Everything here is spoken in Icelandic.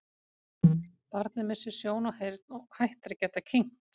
Barnið missir sjón og heyrn og hættir að geta kyngt.